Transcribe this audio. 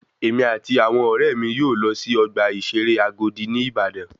Èmi àti àwọn ọ̀rẹ́ mi yóò lọ sí ọgbà ìṣeré Agodi ní Ìbàdàn